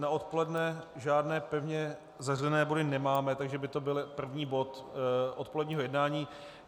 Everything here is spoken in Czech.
Na odpoledne žádné pevně zařazené body nemáme, takže by to byl první bod odpoledního jednání.